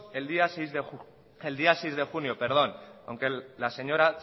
el día seis de junio aunque la señora